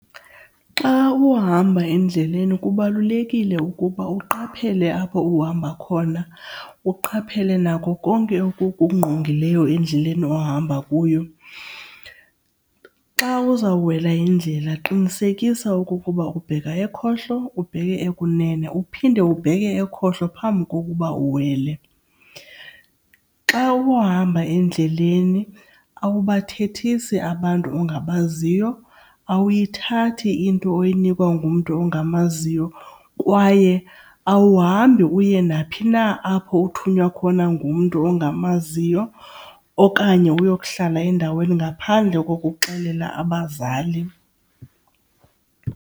Xa uhamba endleleni kubalulekile ukuba uqaphele apho uhamba khona. Uqaphele nako konke okukungqongileyo endleleni ohamba kuyo. Xa uzawuwela indlela qinisekisa okokuba ubheka ekhohlo ubheke ekunene uphinde ubheke ekhohlo phambi kokuba uwele. Xa uhamba endleleni awubathethisi abantu ongabaziyo. Awuyithathi into oyinikwa ngumntu ongamaziyo kwaye awuhambi uye naphi na apho uthunywa khona ngumntu ongamaziyo okanye uyokuhlala endaweni ngaphandle kokuxelela abazali.